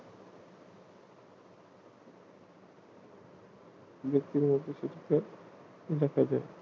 ব্যাক্তির মধ্যে সুস্থ দেখা যায়